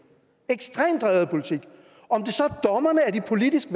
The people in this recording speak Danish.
ekstremt drevet af politik om det så er dommerne er de politisk